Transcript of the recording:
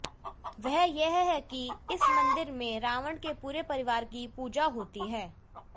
वह यह है कि इस मंदिर में रावण के पूरे परिवार की पूजा होती है